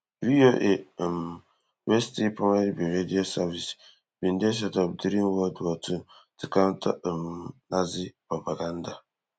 VOA um wey still primarily be radio service bin dey set up during world war two to counter um nazi propaganda